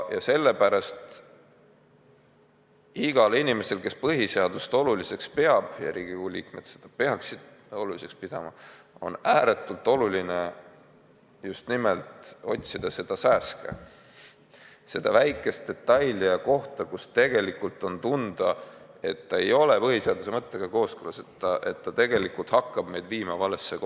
Ja sellepärast igal inimesel, kes põhiseadust oluliseks peab – ja Riigikogu liikmed seda peaksid oluliseks pidama –, on ääretult oluline just nimelt silmas pidada seda sääske, seda väikest detaili ja kohta, mille puhul tegelikult on tunda, et see ei ole põhiseaduse mõttega kooskõlas, et see tegelikult hakkab meid lükkama valesse suunda.